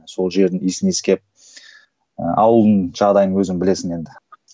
сол жердің иісін иіскеп ыыы ауылдың жағдайын өзің білесің енді